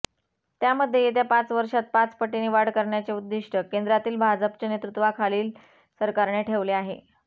त्यामध्ये येत्या पाच वर्षांत पाच पटीने वाढ करण्याचे उद्दिष्ट केंद्रातील भाजपच्या नेतृत्त्वाखालील सरकारने ठेवले आहे